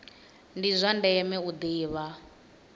ndi zwa ndeme u ḓivha